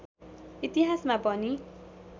इतिहासमा पनि